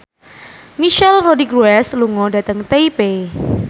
Michelle Rodriguez lunga dhateng Taipei